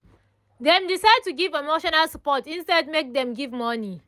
dem decide to give emotional support instead make dem give money